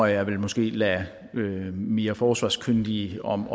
jeg måske lade mere forsvarskyndige om